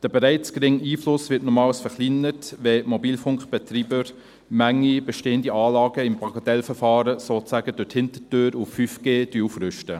Dieser bereits geringe Einfluss wird nochmals verkleinert, wenn Mobilfunkbetreiber manche bestehenden Anlagen im Bagatellverfahren sozusagen durch die Hintertür auf 5G aufrüsten.